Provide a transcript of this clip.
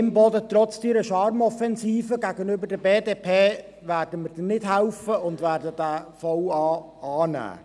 Imboden, trotz Ihrer Charmeoffensive gegenüber der BDP werden wir Ihnen nicht helfen, sondern wir werden den VA annehmen.